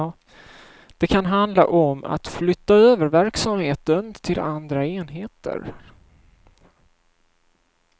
Det kan handla om att flytta över verksamheten till andra enheter.